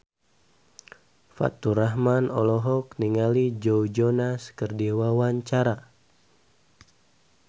Faturrahman olohok ningali Joe Jonas keur diwawancara